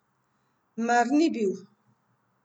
Mar ni bil?